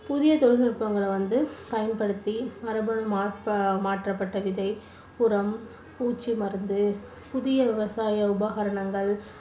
புதிய தொழில்நுட்பங்களை வந்து பயன்படுத்தி மரபணு மாற்~மாற்றப்பட்ட விதை, உரம், பூச்சி மருந்து, புதிய விவசாய உபகரணங்கள்